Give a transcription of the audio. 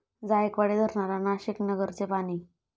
जायकवाडी धरणाला नाशिक, नगरचे पाणी